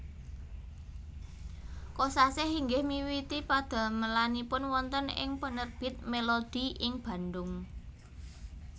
Kosasih inggih miwiti padamelanipun wonten ing penerbit Melodi ing Bandung